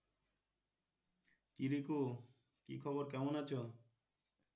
কি রিকু কি খবর? কেমন আছো?